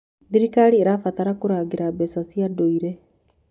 Thirikari ĩrabatara kũrangĩra mbeca cia ndũire.